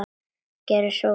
Gerið svo vel!